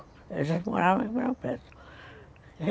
Eles moravam em Ribeirão Preto.